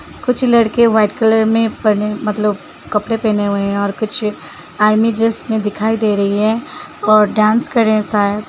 कुछ लड़के white colour में पड़े मतलब कपड़े पहने हुए हैं और कुछ आर्मी ड्रेस में दिखाई दे रही है और डांस कर रहे हैं शायद।